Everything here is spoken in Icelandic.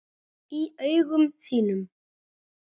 Í augum þínum.